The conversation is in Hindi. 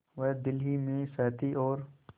वह दिल ही में सहती और